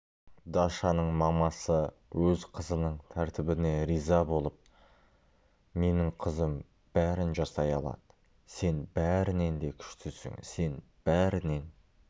дашаның мамасы өз қызының тәртібіне риза болып менің қызым бәрін жасай алады сен бәрінен де күштісің сен бәрінен